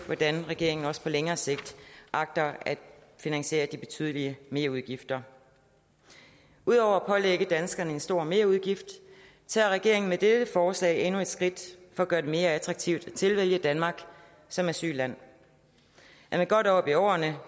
hvordan regeringen også på længere sigt agter at finansiere de betydelige merudgifter udover at pålægge danskere en stor merudgift tager regeringen med dette forslag endnu et skridt at gøre det mere attraktivt at tilvælge danmark som asylland er man godt oppe i årene